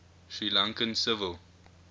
sri lankan civil